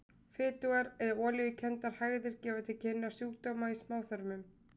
Fitugar eða olíukenndar hægðir gefa til kynna sjúkdóma í smáþörmum.